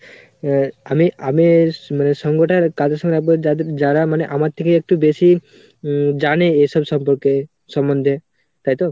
আ~ আমি আমি মানে সঙ্গ টা কাদের সাথে রাখবো যাদের যারা মানে আমার থেকে একটু বেশি হম জানে এসব সম্পর্কে সমন্ধে। তাইতো?